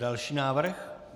Další návrh.